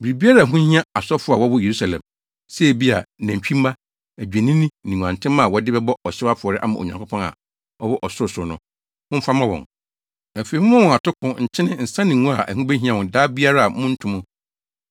Biribiara a ɛho hia asɔfo a wɔwɔ Yerusalem, sɛ ebia, nantwimma, adwennini ne nguantenmma a wɔde bɛbɔ ɔhyew afɔre ama Onyankopɔn a ɔwɔ ɔsorosoro no, momfa mma wɔn. Afei, momma wɔn atoko, nkyene, nsa ne ngo a ɛho behia wɔn da biara a monnto mu.